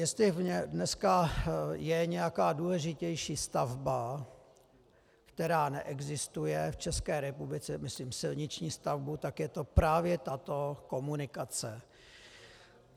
Jestli dneska je nějaká důležitější stavba, která neexistuje v České republice, myslím silniční stavbu, tak je to právě tato komunikace.